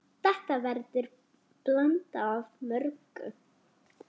Þetta verður blanda af mörgu.